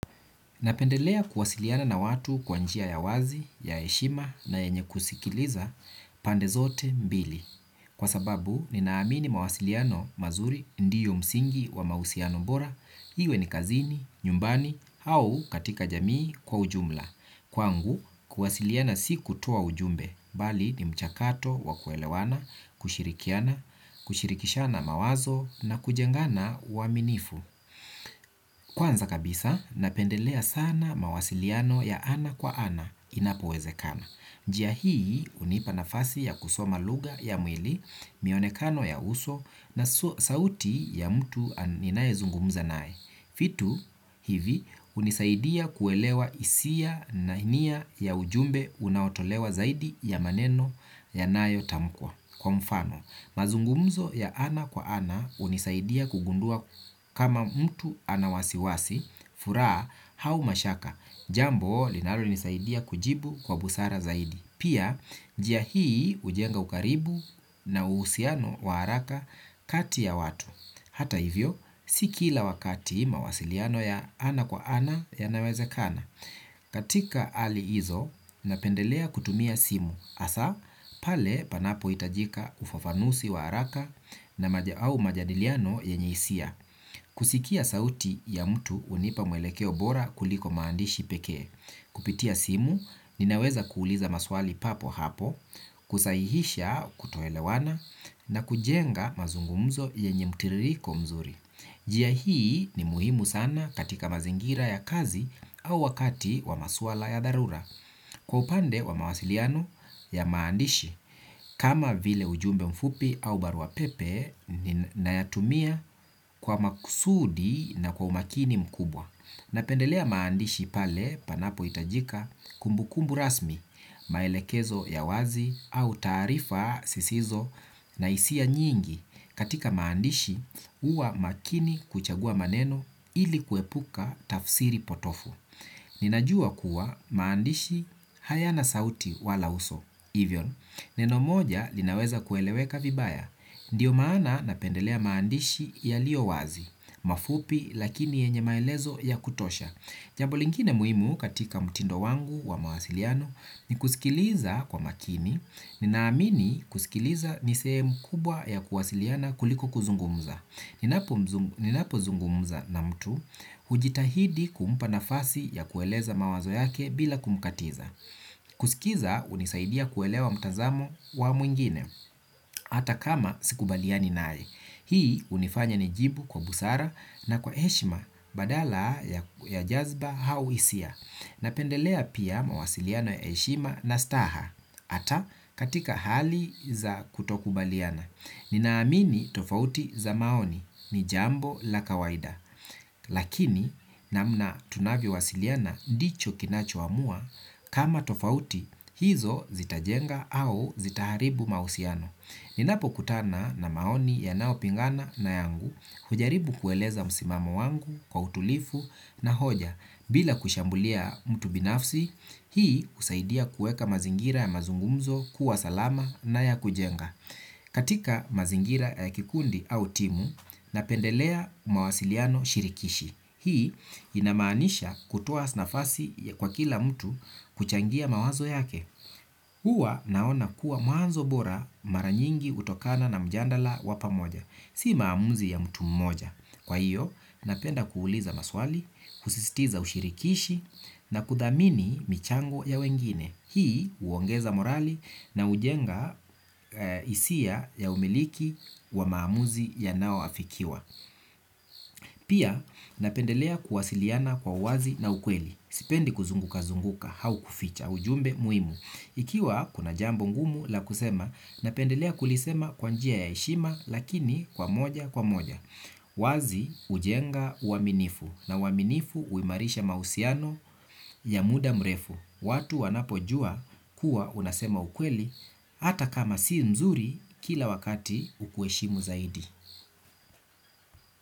Napendelea kuwasiliana na watu kwa njia ya wazi, ya heshima na yenye kusikiliza pande zote mbili. Kwa sababu, ninaamini mawasiliano mazuri ndiyo msingi wa mausiano bora, iwe ni kazini, nyumbani, au katika jamii kwa ujumla. Kwangu, kuwasiliana si kutoa ujumbe, bali ni mchakato wa kuelewana, kushirikiana, kushirikishana mawazo na kujengana uaminifu. Kwanza kabisa, napendelea sana mawasiliano ya ana kwa ana inapo wezekana. Njia hii, unipa nafasi ya kusoma luga ya mwili, mionekano ya uso na sauti ya mtu ninaezungumza nae. Fitu hivi unisaidia kuelewa isia na inia ya ujumbe unaotolewa zaidi ya maneno ya nayo tamkwa. Kwa mfano, mazungumzo ya ana kwa ana unisaidia kugundua kama mtu anawasiwasi, furaa hau mashaka. Jambo linalo nisaidia kujibu kwa busara zaidi. Pia, njia hii ujenga ukaribu na uhusiano wa araka kati ya watu. Hata hivyo, si kila wakati mawasiliano ya ana kwa ana yanawezakana. Katika ali hizo, napendelea kutumia simu. Asa, pale panapo itajika ufafanusi wa haraka au majadiliano yenye isia. Kusikia sauti ya mtu unipa mwelekeo bora kuliko maandishi pekee. Kupitia simu, ninaweza kuuliza maswali papo hapo. Kusaihisha kutoelewana na kujenga mazungumzo yenye mutiririko mzuri. Jia hii ni muhimu sana katika mazingira ya kazi au wakati wa maswala ya dharura. Kwa upande wa mawasiliano ya maandishi kama vile ujumbe mfupi au barua pepe ni nayatumia kwa makusudi na kwa umakini mkubwa. Napendelea maandishi pale panapo itajika kumbukumbu rasmi maelekezo ya wazi au taarifa sisizo na isia nyingi katika maandishi uwa makini kuchagua maneno ili kuepuka tafsiri potofu. Ninajua kuwa maandishi hayana sauti wala uso, ivyon. Neno moja linaweza kueleweka vibaya. Ndiyo maana napendelea maandishi yalio wazi, mafupi lakini yenye maelezo ya kutosha. Jamb lingine muimu katika mtindo wangu wa mawasiliano ni kusikiliza kwa makini ninaamini kusikiliza ni sehemu kubwa ya kuwasiliana kuliko kuzungumza. Ninapo zungumza na mtu hujitahidi kumpa nafasi ya kueleza mawazo yake bila kumkatiza. Kusikiza unisaidia kuelewa mtazamo wa mwingine ata kama sikubaliani nae. Hii unifanya nijibu kwa busara na kwa eshima badala ya jazba hau isia. Napendelea pia mawasiliano ya eshima na staha ata katika hali za kutokubaliana. Ninaamini tofauti za maoni ni jambo la kawaida. Lakini namna tunavyo wasiliana ndicho kinacho amua kama tofauti hizo zitajenga au zitaharibu mausiano. Ninapo kutana na maoni yanao pingana na yangu hujaribu kueleza musimamo wangu kwa utulifu na hoja bila kushambulia mtu binafsi, hii husaidia kueka mazingira ya mazungumzo kuwa salama na ya kujenga. Katika mazingira kikundi au timu napendelea mawasiliano shirikishi. Hii ina maanisha kutoa nafasi kwa kila mtu kuchangia mawazo yake. Uwa naona kuwa mwanzo bora maranyingi utokana na mjandala wa pamoja. Si maamuzi ya mtu mmoja. Kwa hiyo napenda kuuliza maswali, kusistiza ushirikishi na kudhamini michango ya wengine. Hii uongeza morali na ujenga isia ya umiliki wa maamuzi yanao afikiwa. Pia napendelea kuwasiliana kwa wazi na ukweli. Sipendi kuzunguka zunguka hau kuficha ujumbe muimu. Ikiwa kuna jambo ngumu la kusema napendelea kulisema kwa njia ya eshima lakini kwa moja kwa moja. Wazi ujenga uaminifu na uaminifu uimarisha mausiano ya muda mrefu. Watu wanapojua kuwa unasema ukweli hata kama sii nzuri kila wakati ukueshimu zaidi.